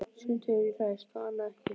Sumt hefur ræst og annað ekki.